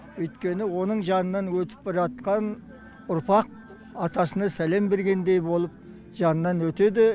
өйткені оның жанынан өтіп бара жатқан ұрпақ атасына сәлем бергендей болып жанынан өтеді